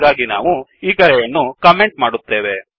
ಹಾಗಾಗಿ ನಾವು ಈ ಕರೆಯನ್ನು ಕಮೆಂಟ್ ಮಾಡುತ್ತೇವೆ